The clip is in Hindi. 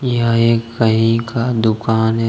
यह एक कहीं का दुकान है।